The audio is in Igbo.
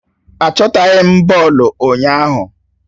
Achọtaghi m bọọlụ ụnyaahụ